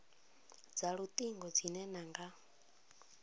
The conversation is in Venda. dza lutingo dzine na nga